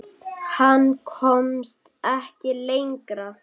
Hann komst ekki lengra.